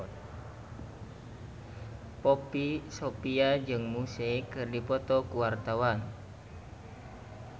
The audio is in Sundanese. Poppy Sovia jeung Muse keur dipoto ku wartawan